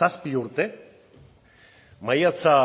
zazpi urte maiatza